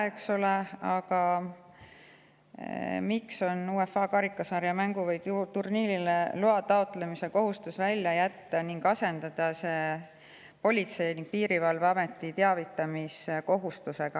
UEFA karikasarja mängule või turniirile loa taotlemise kohustus välja jätta ning asendada see Politsei- ja Piirivalveameti teavitamise kohustusega.